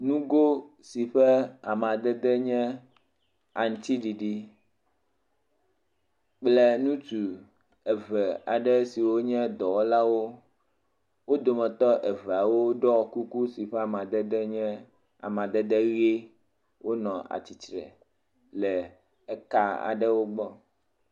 Nugo si ƒe amadede nye aŋutiɖiɖi kple ŋutdu eve aɖe siwo nye dɔwɔlawo, wo dometɔ eveawo ɖɔ kuku si ƒe amadede nye amadede ʋie wole atsitre le ka aɖewo gbɔ.